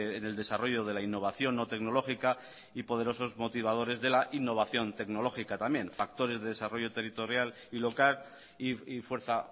en el desarrollo de la innovación no tecnológica y poderosos motivadores de la innovación tecnológica también factores de desarrollo territorial y local y fuerza